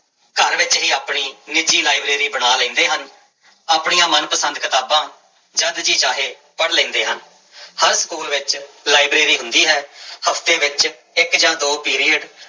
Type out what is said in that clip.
ਘਰ ਵਿੱਚ ਹੀ ਆਪਣੀ ਨਿੱਜੀ ਲਾਇਬ੍ਰੇਰੀ ਬਣਾ ਲੈਂਦੇ ਹਨ, ਆਪਣੀਆਂ ਮਨ ਪਸੰਦ ਕਿਤਾਬਾਂ ਜਦ ਜੀਅ ਚਾਹੇ ਪੜ੍ਹ ਲੈਂਦੇ ਹਨ, ਹਰ ਸਕੂਲ ਵਿੱਚ ਲਾਇਬ੍ਰੇਰੀ ਹੁੰਦੀ ਹੈ ਹਫ਼ਤੇ ਵਿੱਚ ਇੱਕ ਜਾਂ ਦੋ ਪੀਰੀਅਡ